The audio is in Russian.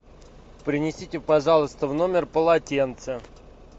принесите пожалуйста в номер полотенце